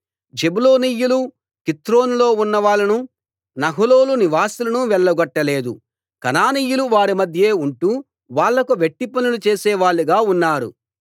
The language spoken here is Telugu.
జెబూలూనీయులు కిత్రోనులో ఉన్నవాళ్ళను నహలోలు నివాసులను వెళ్లగొట్ట లేదు కనానీయులు వారి మధ్యే ఉంటూ వాళ్లకు వెట్టిపనులు చేసేవాళ్ళుగా ఉన్నారు